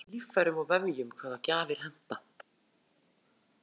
það er mismunandi eftir líffærum og vefjum hvaða gjafar henta